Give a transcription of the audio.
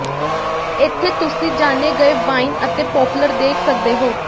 ਇੱਥੇ ਤੁਸੀਂ ਜਾਣੇ ਗਏ ਵਾਈਨ ਅਤੇ ਪੋਪਲਰ ਦੇਖ ਸਕਦੇ ਹੋ